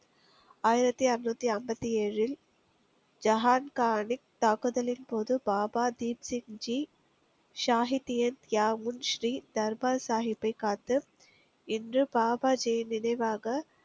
ஆயிரத்தி அறுநூத்தி ஐம்பத்தி ஏழில் ஜஹான்கானிக் தாக்குதலின் போது பாபா தீப்சி ஜித் ஷாகித்யன் கியாமுன் ஸ்ரீ தர்பார் சாஹிப்பை காத்து, இன்று பாபாஜியின் நினைவாக